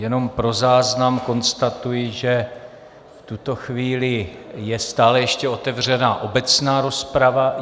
Jenom pro záznam konstatuji, že v tuto chvíli je stále ještě otevřena obecná rozprava.